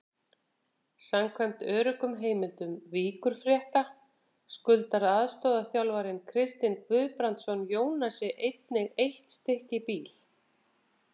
Samkvæmt öruggum heimildum Víkurfrétta skuldar aðstoðarþjálfarinn Kristinn Guðbrandsson Jónasi einnig eitt stykki bíl.